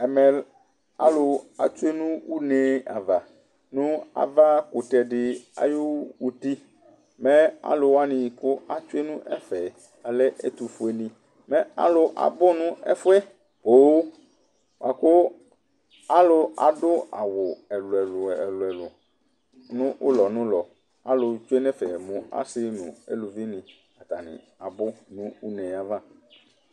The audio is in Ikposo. Ɛmɛ alʊ tsoe nʊ ʊne ava nʊ ava kʊtɛ dɩ ayʊtɩ mɛ alʊ wanɩ kʊ etsoe nʊ ɛfɛ alɛ ɛtʊfoenɩ Mɛ alʊ abʊ nʊ ɛfoɛ Kʊ alʊ adʊ awʊ ɛlʊ ɛlɛ nʊ ʊlɔ ʊlɔ Alʊetsoe nʊ ɛfɛ mʊ asɩ nʊ ʊlʊvɩnɩ abʊ nʊ ʊneava